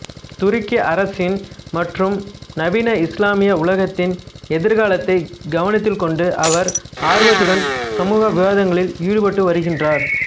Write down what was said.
துருக்கி அரசின் மற்றும் நவீன இஸ்லாமிய உலகத்தின் எதிர்காலத்தை கவனத்தில்கொண்டுஅவர் ஆவர்த்துடன் சமூக விவாதங்களில் ஈடுபட்டு வருகின்றார்